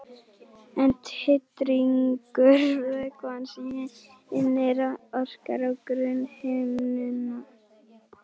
En titringur vökvans í inneyra orkar á grunnhimnuna.